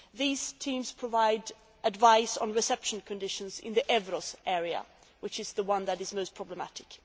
These teams provide advice on reception conditions in the Evros area, which is the one that is the most problematic.